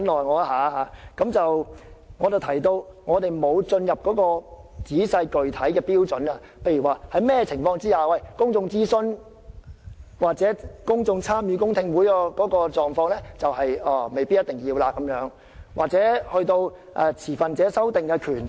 我剛才提到我們未有討論仔細具體的標準，例如在甚麼情況下未必需要公眾諮詢或公眾參與的公聽會，又或未必需要持份者進行修訂的權力。